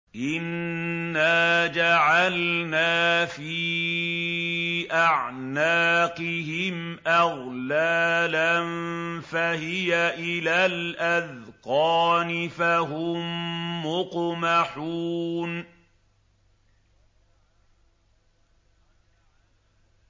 إِنَّا جَعَلْنَا فِي أَعْنَاقِهِمْ أَغْلَالًا فَهِيَ إِلَى الْأَذْقَانِ فَهُم مُّقْمَحُونَ